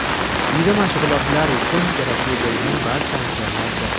Uyda mashg‘ulotlar uchun kerakli bo‘lgan barcha anjomlar bor.